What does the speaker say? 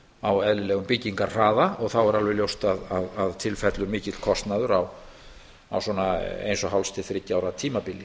á eðlilegum byggingarhraða og þá er alveg ljóst að til fellur mikill kostnaður á svona eins og hálfs til þriggja ára tímabili